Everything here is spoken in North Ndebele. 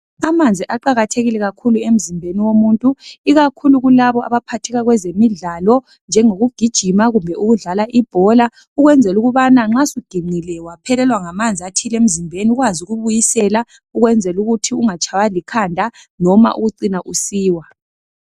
Amanzi aqakathekile kakhulu emzimbeni womuntu ikakhulu kulabo abaphatheka kwezemidlalo njengokugijima kumbe ukudlala ibhola ukwenzela ukubana nxa suginqile waphelelwa ngamanzi athile emzimbeni ukwazi ukubuyisela ukwenzela ukuthi ungatshaywa likhanda noma ukucina usiwa.